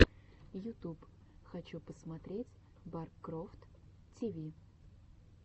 ютуб хочу посмотреть баркрофт ти ви